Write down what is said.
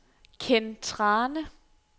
Ken Thrane